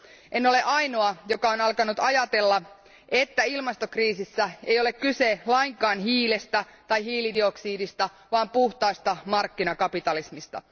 En ole ainoa, joka on alkanut ajatella, että ilmastokriisissä ei ole kyse lainkaan hiilestä tai hiilidioksidista vaan puhtaasta markkinakapitalismista.